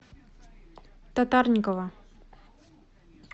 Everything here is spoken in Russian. татарникова